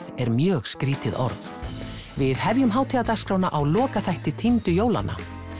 er mjög skrítið orð við hefjum á lokaþætti týndu jólanna